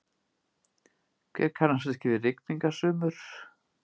Hver kannast ekki við rigningasumur?